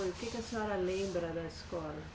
O que que a senhora lembra da escola?